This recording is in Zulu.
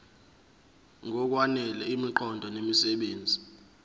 ngokwanele imiqondo nemisebenzi